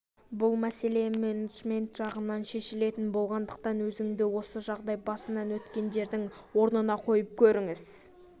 бұл мәселе менеджмент жағынан шешілетін болғандықтан өзіңді осы жағдай басынан өткендердің орнына қойып көріңіз